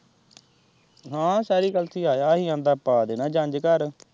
ਹਾਂ ਸੈਰੀ ਕਲਸ਼ੀ ਆਇਆ ਹੀ ਕਹਿੰਦਾ ਪਾ ਦੇਣਾ ਜੰਞ ਘਰ।